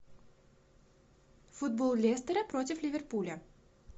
футбол лестера против ливерпуля